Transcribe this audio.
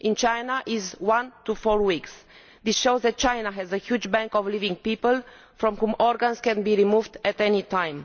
In China it is one to four weeks. This shows that China has a huge bank of living people from whom organs can be removed at any time.